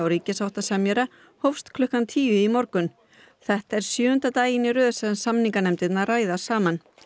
ríkissáttasemjara hófst klukkan tíu í morgun þetta er sjöunda daginn í röð sem samninganefndirnar ræða saman